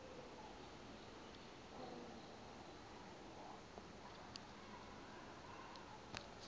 uhabure